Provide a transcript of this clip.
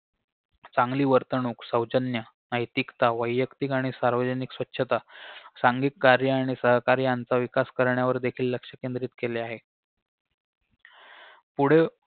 चांगली वर्तवणूक सौजन्य नैतिकता वयक्तिक आणि सार्वजनिक स्वच्छता सांघिक कार्य आणि सहकार्य याचा विकास करण्यावर देखील लक्ष केंद्रित केले आहे पुढे